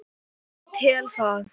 Ég tel það.